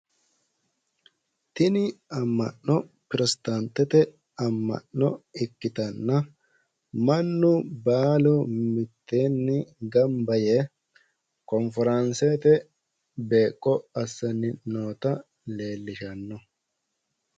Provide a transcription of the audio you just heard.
Tini amma'no pirotestaantete amma'no ikkitanna mannu baalu mitteenni gamba yee konforaansete beeqqo assanni noota leellishanno.